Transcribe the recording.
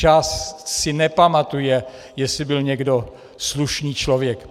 Čas si nepamatuje, jestli byl někdo slušný člověk.